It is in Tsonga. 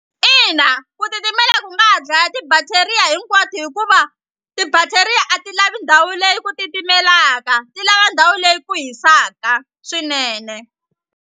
Ina ku titimela ku nga ha dlaya ti-bacteria hinkwato hikuva ti-bacteria a ti lavi ndhawu leyi ku titimelaka ti lava ndhawu leyi ku hisaka swinene.